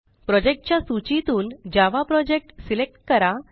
project च्या सूचीतून Java project select करा